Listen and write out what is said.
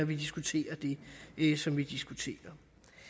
vi diskuterer det som vi diskuterer